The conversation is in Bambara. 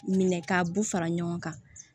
Minɛ k'a bɛɛ fara ɲɔgɔn kan